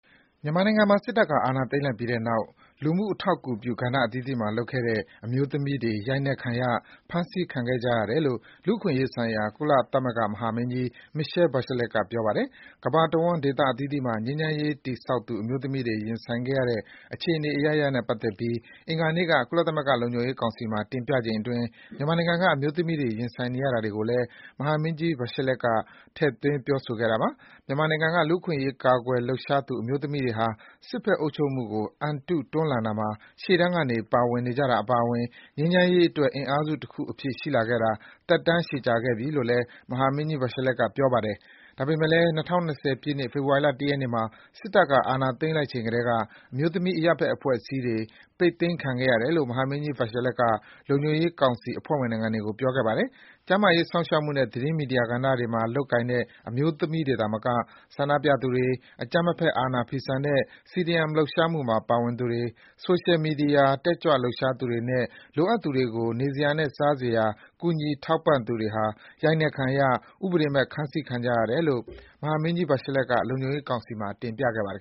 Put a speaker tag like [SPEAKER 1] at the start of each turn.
[SPEAKER 1] မြန်မာနိုင်ငံမှာ စစ်တပ်က အာဏာသိမ်းလိုက်ပြီးတဲ့နောက် လူမှုထောက်ကူပြု ကဏ္ဍအသီးသီးမှာလုပ်ခဲ့တဲ့ အမျိုးသမီးတွေ ရိုက်နှက်ခံရ၊ ဖမ်းဆီးခံခဲ့ကြရတယ်လို့ လူ့အခွင့်အရေးဆိုင်ရာ ကုလသမဂ္ဂ မဟာမင်းကြီး Michelle Bachelet က ပြောပါတယ်။ ကမ္ဘာတဝန်း ဒေသအသီးသီးမှာ ငြိမ်းချမ်းရေးတည်ဆောက်သူ အမျိုးသမီးတွေ ရင်ဆိုင်ခဲ့ရတဲ့ အခြေအနေအရပ်ရပ်နဲ့ပတ်သက်ပြီး အင်္ဂါနေ့က ကုလသမဂ္ဂလုံခြုံရေးကောင်စီမှာ တင်ပြချိန်အတွင်း မြန်မာနိုင်ငံက အမျိုးသမီးတွေ ရင်ဆိုင်နေရတာတွေကိုလည်း မဟာမင်းကြီး Bachelet က ထည့်ပြောသွားတာပါ။ မြန်မာနိုင်ငံက လူ့အခွင့်အရေး ကာကွယ်လှုပ်ရှားသူ အမျိုးသမီးတွေဟာ “စစ်ဘက်အုပ်ချုပ်မှုကို အန်တုတွန်းလှန်တာမှာ ရှေ့တန်းကနေ ပါဝင်နေကြတာအပါအဝင်” ငြိမ်းချမ်းရေးအတွက် အင်အားစုတခုအဖြစ် ရှိလာခဲ့တာ သက်တမ်းရှည်ကြာခဲ့ပြီလို့ မဟာမင်းကြီး Bachelet ကပြောပါတယ်။ ဒါပေမယ့်လည်း ၂၀၂၀ ပြည့်နှစ်၊ ဖေဖော်ဝါရီလ ၁ ရက်နေ့မှာ စစ်တပ်က အာဏာသိမ်းလိုက်ချိန်ကတည်းက အမျိုးသမီး အရပ် ဘက်အဖွဲ့အစည်းတွေ ပိတ်သိမ်းခံခဲ့ရတယ်လို့ မဟာမင်းကြီး Bachelet က လုံခြုံရေးကောင်စီ အဖွဲ့ဝင်နိုင်ငံတွေကို ပြောခဲ့ပါ တယ်။ ကျန်းမာရေးစောင့်ရှောက်မှုနဲ့ သတင်းမီဒီယာကဏ္ဍတွေမှာ လုပ်ကိုင်တဲ့ အမျိုးသမီးတွေသာမက ဆန္ဒပြသူတွေ၊ အကြမ်းမဖက် အာဏာဖီဆန်တဲ့ CDM လှုပ်ရှားမှုမှာပါဝင်သူတွေ၊ ဆိုရှယ်မီဒီယာ တက်ကြွလှုပ်ရှားသူတွေနဲ့ လိုအပ်သူတွေကို နေစရာနဲ့ စားစရာ ကူညီထောက်ပံ့သူတွေဟာ ရိုက်နှက်ခံရ၊ ဥပဒေမဲ့ ဖမ်းဆီးခံကြရတယ်လို့ မဟာမင်းကြီး Bachelet က လုံခြုံရေးကောင်စီမှာ တင်ပြခဲ့ပါတယ်